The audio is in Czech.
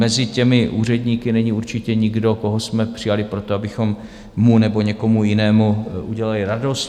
Mezi těmi úředníky není určitě nikdo, koho jsme přijali proto, abychom mu nebo někomu jinému udělali radost.